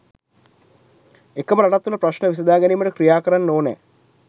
එකම රටක් තුළ ප්‍රශ්න විසඳා ගැනීමට ක්‍රියා කරන්න ඕනෑ